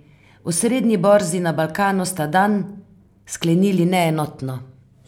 Osrednji borzi na Balkanu sta dan sklenili neenotno.